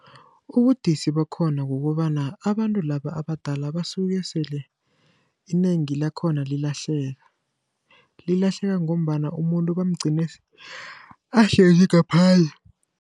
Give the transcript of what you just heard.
Ubudisi bakhona kukobana abantu laba abadala basuke sele inengi lakhona lilahleka, lilahleka ngombana umuntu bamugcine ahlezi ngaphandle.